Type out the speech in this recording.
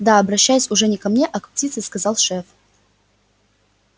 да обращаясь уже не ко мне а к птице сказал шеф